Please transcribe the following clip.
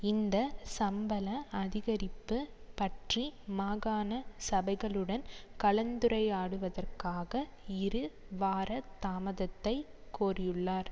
இந்த சம்பள அதிகரிப்பு பற்றி மாகாண சபைகளுடன் கலந்துரையாடுவதற்காக இரு வார தாமதத்தை கோரியுள்ளார்